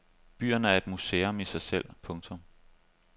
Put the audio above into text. Byen er et museum i sig selv. punktum